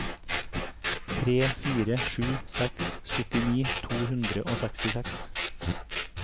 tre fire sju seks syttini to hundre og sekstiseks